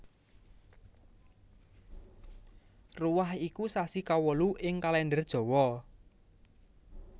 Ruwah iku sasi kawolu ing Kalendher Jawa